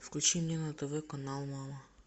включи мне на тв канал мама